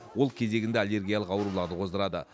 ол кезегінде аллергиялық ауруларды қоздырады